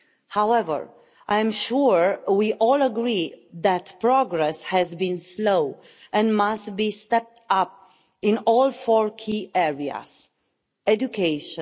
However, I am sure we all agree that progress has been slow and must be stepped up in all four key areas education